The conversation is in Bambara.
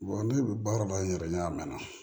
ne bɛ baara la n yɛrɛ n'a mɛn na